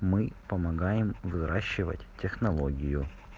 мы помогаем выращивать технологию